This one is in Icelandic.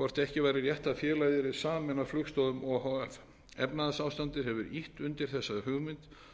hvort ekki væri rétt að félagið yrði sameinað flugstoðum o h f efnahagsástandið hefur ýtt undir þessa hugmynd